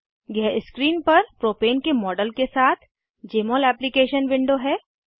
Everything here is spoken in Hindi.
यह स्क्रीन पर प्रोपेन के मॉडल के साथ जमोल एप्लीकेशन विंडो है